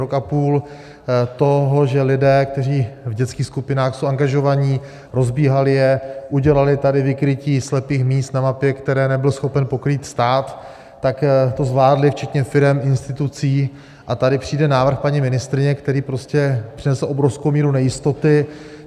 Rok a půl toho, že lidé, kteří v dětských skupinách jsou angažovaní, rozbíhali je, udělali tady vykrytí slepých míst na mapě, které nebyl schopen pokrýt stát, tak to zvládli včetně firem, institucí, a tady přijde návrh paní ministryně, který prostě přinesl obrovskou míru nejistoty.